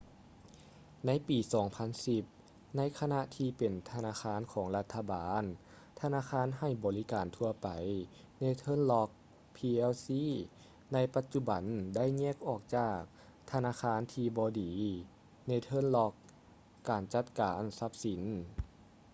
ໃນປີ 2010 ໃນຂະນະທີ່ເປັນທະນາຄານຂອງລັດຖະບານ ທະນາຄານໃຫ້ບໍລິການທົ່ວໄປ northern rock plc ໃນປະຈຸບັນໄດ້ແຍກອອກຈາກ ‘ທະນາຄານທີ່ບໍ່ດີ’ northern rock ການຈັດການຊັບສິນ